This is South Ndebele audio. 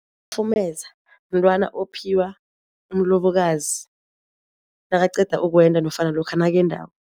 Umafumeza mntwana ophiwa umlobokazi nakaqeda ukwenda nofana lokha nakendako.